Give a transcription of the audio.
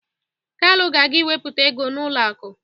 Kalu ga-aga ịwepụ ego n'ụlọ akụ